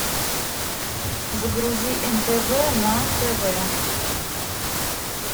загрузи нтв на тв